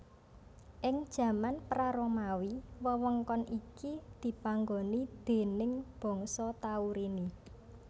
Ing jaman pra Romawi wewengkon iki dipanggoni déning bangsa Taurini